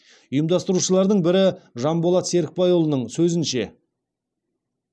ұйымдастырушылардың бірі жанболат серікбайұлының сөзінше